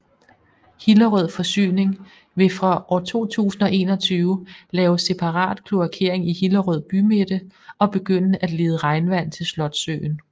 Hillerød Forsyning vil fra år 2021 lave separat kloakering i Hillerød bymidte og begynde at lede regnvand til Slotssøen